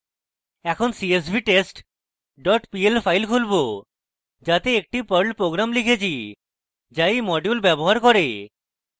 এখন csvtest pl file খুলবো যাতে একটি perl program লিখেছি যা এই module ব্যবহার করে